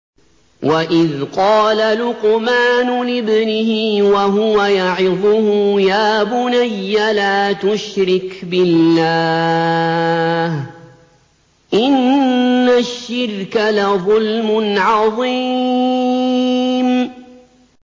وَإِذْ قَالَ لُقْمَانُ لِابْنِهِ وَهُوَ يَعِظُهُ يَا بُنَيَّ لَا تُشْرِكْ بِاللَّهِ ۖ إِنَّ الشِّرْكَ لَظُلْمٌ عَظِيمٌ